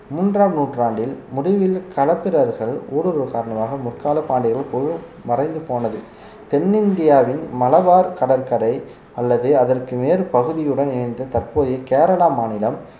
மூன்றாம் நூற்றாண்டில் முடிவில் களப்பிரர்கள் ஊடுருவல் காரணமாக முக்கால பாண்டியர்கள் போ~ மறைந்து போனது தென்னிந்தியாவின் மலபார் கடற்கரை அல்லது அதற்கு நேர் பகுதியுடன் இணைந்த தற்போதைய கேரளா மாநிலம்